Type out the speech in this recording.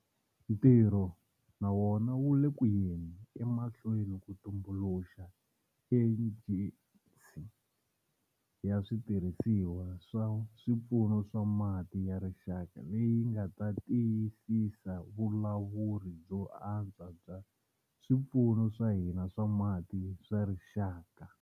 Ntirho na wona wu le ku yeni emahlweni ku tumbuluxa Ejensi ya Switirhisiwakulu swa Swipfuno swa Mati ya Rixaka leyi nga ta tiyisisa vulawuri byo antswa bya swipfuno swa hina swa mati swa rixaka.